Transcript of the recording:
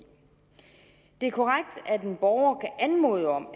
det er korrekt at en borger kan anmode om